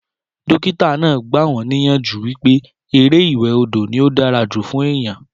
Dókítà náà gba wọn níyànjú wípé eré ìwẹ̀ odò ní ó dára jù fún èèyàn